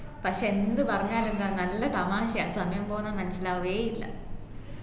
പക്ഷേ എന്ത് പറഞ്ഞാലും എന്താ നല്ല തമാശയാണ് സമയം പോന്നത് മനസിലാവുഏഇല്ല